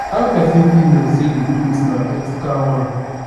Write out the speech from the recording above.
how pesin fit know say di clothing na ethical one?